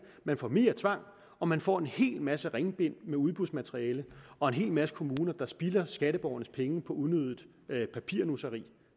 man får mere tvang og man får en hel masse ringbind med udbudsmateriale og en hel masse kommuner der spilder skatteborgernes penge på unødigt papirnusseri